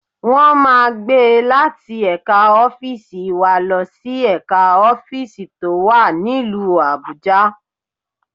Wọ́n máa gbé e láti ẹ̀ka ọ́fíìsì wa lọ sí ẹ̀ka ọ́fíìsì tó wà nílùú Abuja